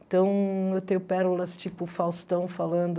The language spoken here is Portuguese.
Então, eu tenho pérolas tipo Faustão falando...